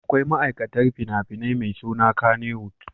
Akwai ma'aikatar fina-finan mai suna Kannywood.